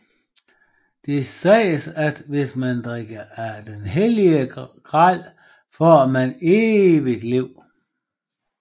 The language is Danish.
Det siges at hvis man drikker af den hellige gral får man evigt liv